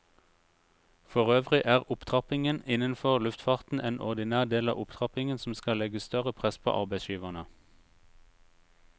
Forøvrig er opptrappingen innenfor luftfarten en ordinær del av opptrappingen som skal legge større press på arbeidsgiverne.